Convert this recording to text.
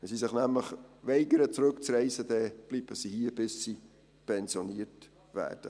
Wenn sie sich nämlich weigern, zurückzureisen, dann bleiben sie hier, bis sie pensioniert werden.